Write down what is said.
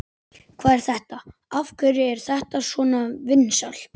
Hvað er þetta, af hverju er þetta svona vinsælt?